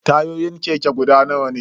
Tayoyin keke guda nawa ne?